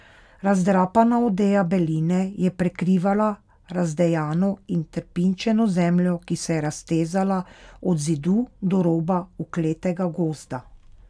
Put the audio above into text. Razdrapana odeja beline je prekrivala razdejano in trpinčeno zemljo, ki se je raztezala od Zidu do roba ukletega gozda.